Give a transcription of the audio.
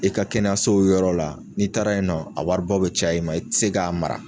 I ka kɛnɛyaso yɔrɔ la n'i taara ye nɔ a waribɔ bɛ caya i ma i tɛ se k'a mara.